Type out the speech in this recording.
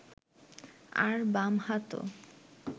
আর বাম হাতও